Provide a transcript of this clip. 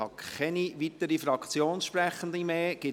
Ich habe keine weiteren Fraktionssprechende mehr auf der Liste.